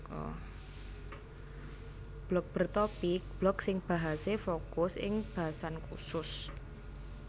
Blog Bertopik blog sing bahasé fokus ing basan khusus